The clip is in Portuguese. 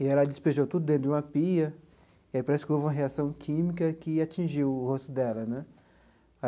e ela despejou tudo dentro de uma pia e aí parece que houve uma reação química que atingiu o rosto dela né.